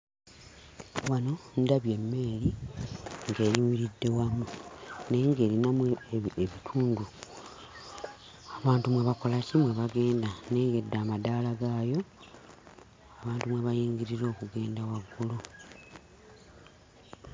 Wano, ndabye emmeeri ng'eyimiridde wamu. Naye ng'erinamu ebitundu abantu mwe bakola ki? Mwe bagenda. Nnengedde amadaala gaayo, abantu mwe bayingirira okugenda waggulu.